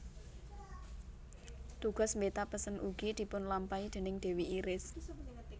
Tugas mbeta pesen ugi dipunlampahi déning dewi Iris